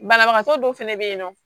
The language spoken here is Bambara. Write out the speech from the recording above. Banabagatɔ dɔw fɛnɛ bɛ yen nɔ